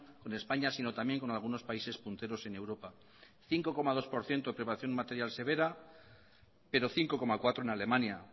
con españa sino también con algunos países punteros en europa cinco coma dos por ciento de preparación material severa pero cinco coma cuatro en alemania